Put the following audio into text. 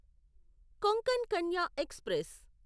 Konkan Kanya express